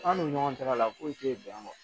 An n'u ni ɲɔgɔn cɛla la foyi tɛ yen bɛn wa